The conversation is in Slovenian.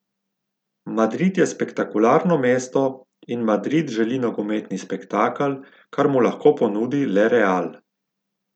Madrid je spektakularno mesto in Madrid želi nogometni spektakel, kar mu lahko ponudi le Real.